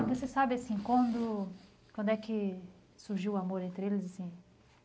Você sabe, assim quando, quando é que surgiu o amor entre eles, assim?